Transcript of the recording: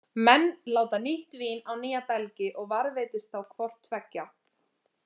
Menn láta nýtt vín á nýja belgi, og varðveitist þá hvort tveggja.